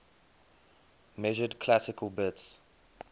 measured classical bits